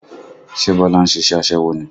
Ṣe Bọlá ń ṣe iṣẹ́ aṣẹ́wó ni?